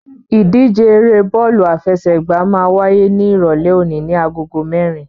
Ìdíje eré bọ́ọ̀lù àfẹsẹ̀gbá máa wáyé ní Ìrọ̀lẹ́ òní ní agogo mẹ́rin.